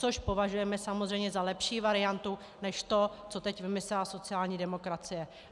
Což považujeme samozřejmě za lepší variantu než to, co teď vymyslela sociální demokracie.